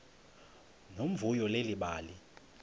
nomvuyo leli bali